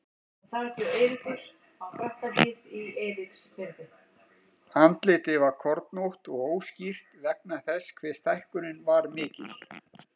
Andlitið var kornótt og óskýrt vegna þess hve stækkunin var mikil.